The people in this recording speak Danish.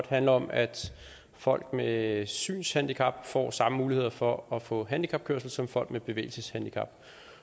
handler om at folk med synshandicap får samme muligheder for at få handicapkørsel som folk med bevægelseshandicap